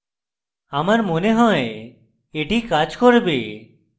আমার মনে হয় এটি কাজ করবে